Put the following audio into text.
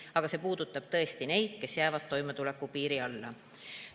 Aga see puudutab tõesti neid, kes jäävad toimetuleku piiri alla.